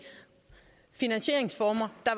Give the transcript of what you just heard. finansieringsformer der